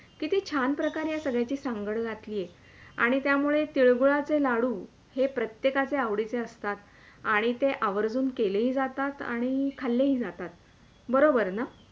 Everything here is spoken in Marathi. कित्ती छान प्रमाणे हे सगळ्यांची सांगड घातली आहे आणि त्यामुळे तिळगुळाचे लाडू हे प्रत्येकाचे आवडीचे असतात आणि ते आवर्जून केलेही जातात आणि खाल्ले ही जातात बरोबर ना?